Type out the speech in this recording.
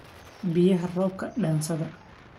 Biyaxa roobka dansadha.